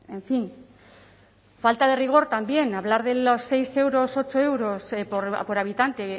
en fin falta de rigor también hablar de los seis euros ocho euros por habitante